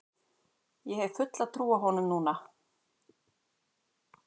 Hef fulla trú á honum núna.